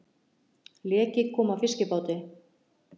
Leki kom að fiskibáti